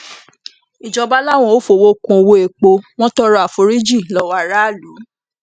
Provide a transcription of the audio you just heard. ìjọba làwọn ò fọwọ kún ọwọ epo wọn tọrọ àforíjì lọwọ aráàlú